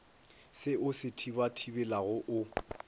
se o se thibathibelago o